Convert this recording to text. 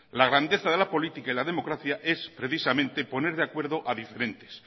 la grandeza de la política y la democracia es precisamente poner de acuerdo a diferentes